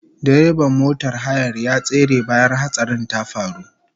Direban motar hayar ya tsere bayan hatsarin ya faru